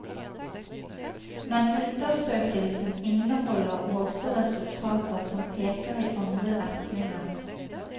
Men undersøkelsen inneholder også resultater som peker i andre retninger.